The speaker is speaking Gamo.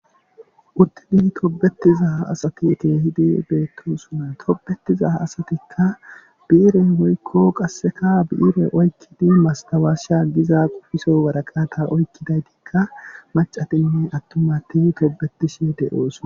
uttidii tobetiza asati keehidii beettosonna tobetiza asatikka bii'ire woykko qasseka bi'ire oykkidi mastawaasha giza qofiso waraqata oykkidaytiikka macatinne attumati tobetishe de'oosonna